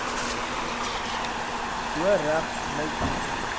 bo regs meidjie